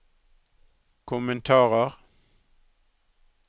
kommentarer